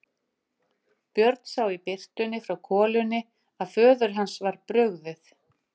Björn sá í birtunni frá kolunni að föður hans var brugðið.